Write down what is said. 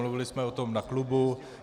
Mluvili jsme o tom na klubu.